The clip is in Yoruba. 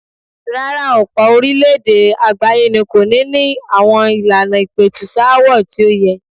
Rárá, ọ̀pọ̀ orílẹ̀-èdè àgbáyé ni kò níi ní àwọn ìlànà ìpẹ̀tùsááwọ̀ tí ó yẹ.